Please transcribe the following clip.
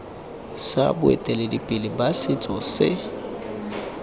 sa boeteledipele ba setso se